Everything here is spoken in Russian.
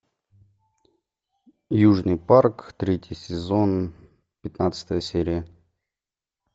южный парк третий сезон пятнадцатая серия